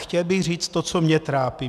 Chtěl bych říct to, co mě trápí.